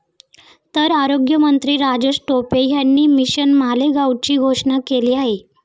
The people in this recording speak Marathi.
तर आरोग्यमंत्री राजेश टोपे यांनी मिशन मालेगावची घोषणा केली आहे.